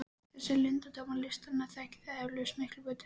Þessa leyndardóma listarinnar þekkið þér eflaust miklu betur en ég.